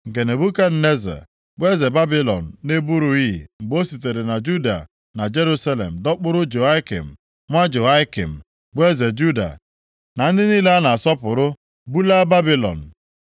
nke Nebukadneza, bụ eze Babilọn na-eburughị mgbe o sitere na Juda na Jerusalem, dọkpụrụ Jehoiakin nwa Jehoiakim, bụ eze Juda, na ndị niile a na-asọpụrụ bulaa Babilọn.